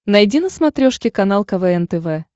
найди на смотрешке канал квн тв